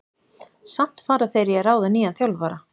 Samt fara þeir í að ráða nýjan þjálfara.